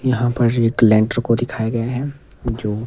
यहां पर एक लेनटर को दिखाया गया है जो--